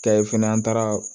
Kɛ ye fɛnɛ an taara